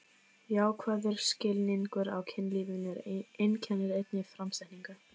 Jákvæður skilningur á kynlífinu einkennir einnig framsetningu